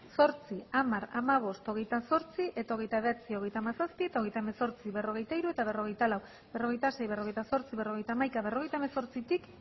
zortzi hamar hamabost hogeita zortzi eta hogeita bederatzi hogeita hamazazpi eta hogeita hemezortzi berrogeita hiru eta berrogeita lau berrogeita sei berrogeita zortzi berrogeita hamaika berrogeita hemezortzitik